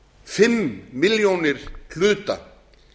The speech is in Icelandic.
fimm milljónir hluta